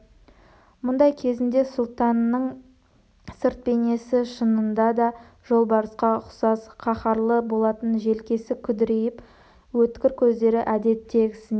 мұндай кезінде сұлтанның сырт бейнесі шынында да жолбарысқа ұқсас қаһарлы болатын желкесі күдірейіп өткір көздері әдеттегісінен